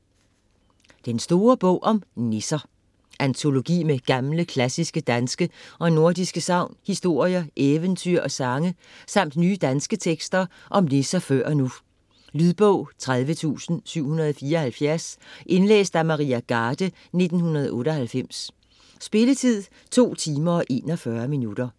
Den store bog om nisser Antologi med gamle, klassiske danske og nordiske sagn, historier, eventyr og sange samt nye danske tekster om nisser før og nu. Lydbog 30774 Indlæst af Maria Garde, 1998. Spilletid: 2 timer, 41 minutter.